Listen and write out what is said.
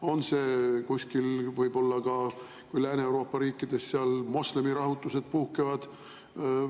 On see kuskil võib-olla Lääne-Euroopas, kui seal moslemite rahutused puhkevad?